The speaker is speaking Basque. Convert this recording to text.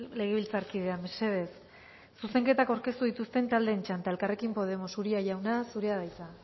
legebiltzarkidea mesedez zuzenketak aurkeztu dituzten taldeen txanda elkarrekin podemos uria jauna zurea da hitza